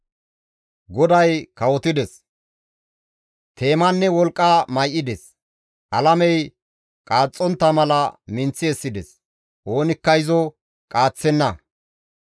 GODAY kawotides! Teemanne wolqqa may7ides; alamey qaaxxontta mala minththi essides; oonikka izo qaaththenna.